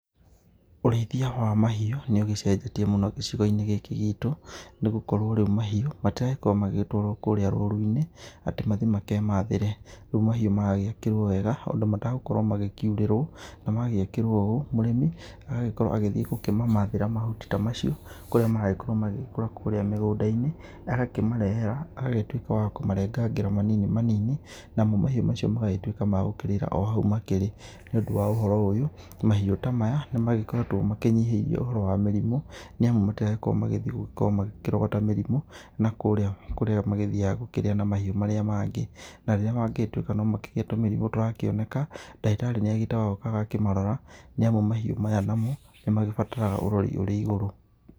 Ũrĩithia wa mahiũ nĩ ũgĩcenjetie mũno gĩcigo-inĩ gĩkĩ gĩtũ, nĩ gũkorwo rĩu mahiũ matiragĩkorwo magĩgĩtwarwo kũũrĩa rũru-inĩ atĩ mathiĩ makemathĩre. Rĩu mahiũ maragiakĩrwo wega handũ matagukorwo magĩkiurĩrwo. Na magĩakĩrwo ũũ mũrĩmi agagĩkorwo agĩthiĩ kumamathĩra mahuti ta macio kũrĩa maragĩkorwo magĩkũra kũũrĩa mĩgũnda-inĩ agakĩmarehe haha agagĩtuĩka wa kũmarengangĩra manini manini, namo mahiu mau magagĩtuĩka magũkĩrira o hau makĩri. Nĩ ũndũ wa ũhoro ũyũ, mahiũ ta maya, nĩ magĩkoretwo makĩnyihĩrio ũhoro wa mĩrimũ nĩ amu matiragĩkorwo magĩthiĩ gũgĩkorwo makĩrogota mĩrimũ nakũũrĩa kũrĩa magĩthiaga gũkĩrĩa na mahiũ marĩa mangĩ. Na rĩrĩa mangĩgĩtuĩka no makĩgĩe tũmĩrimũ tũrakĩoneka ndagĩtarĩ nĩ agĩĩtagwo agoka akamarora, nĩ amu mahiũ maya namo nĩ magĩbataraga ũrori ũrĩ igũrũ.